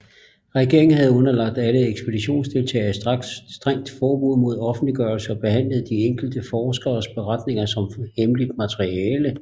Regeringen havde underlagt alle ekspeditionsdeltagere et strengt forbud mod offentliggørelser og behandlede de enkelte forskeres beretninger som hemmeligt materiale